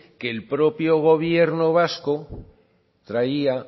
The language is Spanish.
que el propio gobierno vasco traía